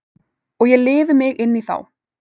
Og ég lifi mig inn í þá.